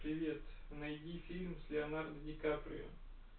привет найди фильм с леонардо ди каприо